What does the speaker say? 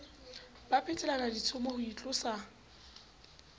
ba phetelana ditshomo ho itlosa